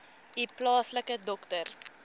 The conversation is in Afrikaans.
u plaaslike dokter